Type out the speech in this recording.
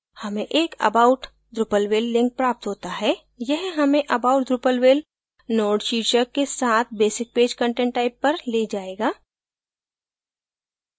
हमें एक about drupalville link प्राप्त होता है यह हमें about drupalville node शीर्षक के साथ basic page content type पर we जायेगा